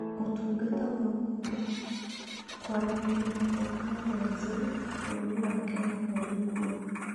Ũtungata wa Ũhoro, Kwaranĩria na Teknoroji, bũrũri wa Kenya ũrĩ kuo.